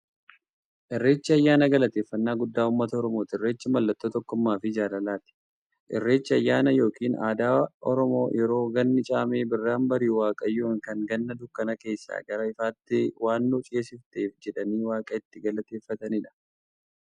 Irreechi ayyaana galateeffanaa guddaa ummata oromooti. Irreechi mallattoo tokkummaafi jaalalaati. Irreechi ayyaana yookiin aadaa Oromoo yeroo ganni caamee birraan bari'u, waaqayyoon kan Ganna dukkana keessaa gara ifaatti waan nu ceesifteef jedhanii waaqa itti galateeffataniidha.